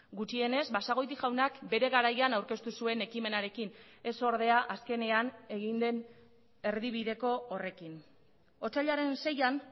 gutxienez basagoiti jaunak bere garaian aurkeztu zuen ekimenarekin ez ordea azkenean egin den erdibideko horrekin otsailaren seian